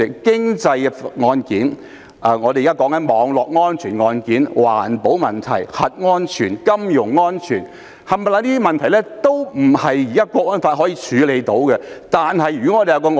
經濟案件、現時討論的網絡安全案件、環保問題、核安全及金融安全等問題，全部都不是《香港國安法》所能處理的。